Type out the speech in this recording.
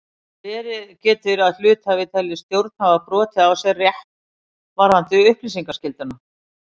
Verið getur að hluthafi telji stjórn hafa brotið á sér rétt varðandi upplýsingaskylduna.